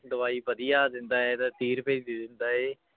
ਦਵਾਈ ਵਧੀਆ ਦਿੰਦਾ ਹੈ ਤੇ ਤੀਹ ਰੁਪਏ ਦੀ ਦੇ ਦਿੰਦਾ ਹੈ